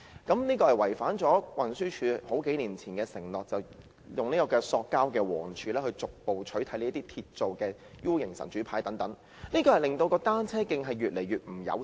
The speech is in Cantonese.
這做法違反了運輸署數年前的承諾，即以塑膠黃柱逐步取代這些鐵造的倒 U 型"神主牌"，令單車徑越來越不友善。